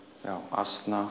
asna